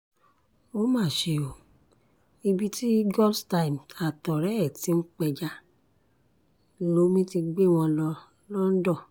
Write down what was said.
ó mà ṣe o ibi tí godstime àtọ̀rẹ́ ẹ̀ ti ń pẹja lomi ti gbé wọn lọ lọ́ńdọ̀